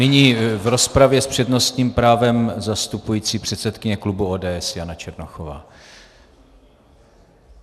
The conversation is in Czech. Nyní v rozpravě s přednostním právem zastupující předsedkyně klubu ODS Jana Černochová.